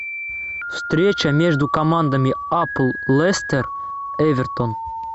встреча между командами апл лестер эвертон